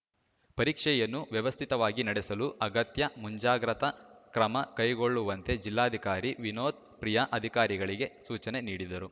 ಪರೀಕ್ಷೆಯನ್ನು ವ್ಯವಸ್ಥಿತವಾಗಿ ನಡೆಸಲು ಅಗತ್ಯ ಮುಂಜಾಗ್ರತಾ ಕ್ರಮ ಕೈಗೊಳ್ಳುವಂತೆ ಜಿಲ್ಲಾಧಿಕಾರಿ ವಿನೋತ್‌ ಪ್ರಿಯಾ ಅಧಿಕಾರಿಗಳಿಗೆ ಸೂಚನೆ ನೀಡಿದರು